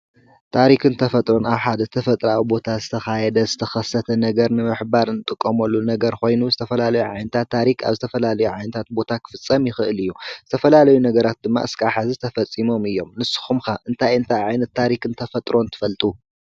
ታሪኽን ተፈጥሮን ፣ኣብ ሓድ ተፈጥራዊ ቦታ ዝተኻየደ ዝተኸሰተ ነገር ምምኅባር ንጥቆምሉ ነገር ኾይኑ ዝተፈላለዩ ዓይነታት ታሪኽ ኣብ ዝተፈላለዩ ዓይነታት ቦታ ኽፍጸም ይኽእል እዩ። ዝተፈላለዩ ነገራት ድማ እስካብ ሕዚ ተፈጺሞም እዮም። ንስኹም ከ እንታይ እንታይ ዓይነትን ታሪኽ ን ተፈጥሮን ትፈልጡ?